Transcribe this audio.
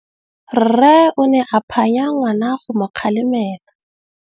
Rre o ne a phanya ngwana go mo galemela.